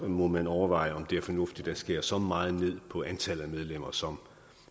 må man overveje om det er fornuftigt at skære så meget ned på antallet af medlemmer som